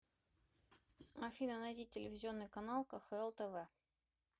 афина найди телевизионный канал кхл тв